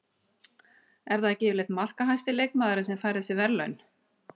Er það ekki yfirleitt markahæsti leikmaðurinn sem fær þessi verðlaun?